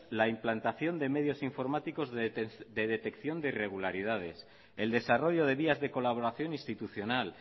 la implantación de medios informáticos de detección de regularidades el desarrollo de vías de colaboración institucional